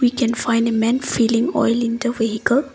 can find a man filling oil in the vehicle.